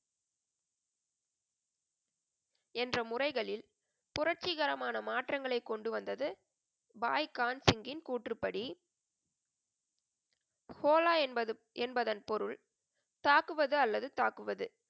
என்ற முறைகளில் புரட்சிகரமான மாற்றங்களை கொண்டுவந்தது பாய் கான் சிங்கின் கூற்றுப்படி, ஹோலா என்பது என்பதன் பொருள், தாக்குவது அல்லது தாக்குவது,